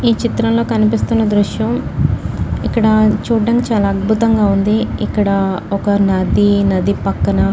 ఈ చిత్రంలో కనిపిస్తున్న దృశ్యం ఇక్కడా చూడం చాలా అద్భుతంగా ఉందిఇక్కడా ఒక్క నదీ నది పక్కన --.